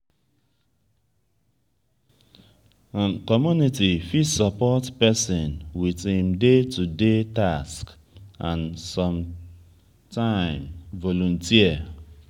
community fit support person with im day to day task and sometime volunteer